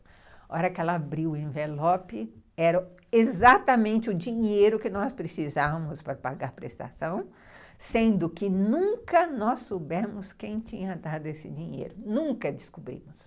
Na hora que ela abriu o envelope, era exatamente o dinheiro que nós precisávamos para pagar a prestação, sendo que nunca nós soubemos quem tinha dado esse dinheiro, nunca descobrimos.